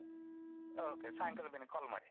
Okay ಸಾಯಂಕಾಲ ಮಿನಿ call ಮಾಡಿ.